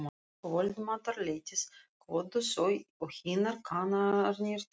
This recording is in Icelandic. Um kvöldmatarleytið kvöddu þau og hinir kanarnir tveir.